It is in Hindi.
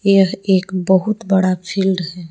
यह एक बहुत बड़ा फील्ड है।